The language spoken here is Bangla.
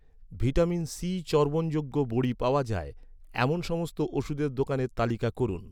ভিটামিন সি চর্বণযোগ্য বড়ি পাওয়া যায়, এমন সমস্ত ওষুধের দোকানের তালিকা করুন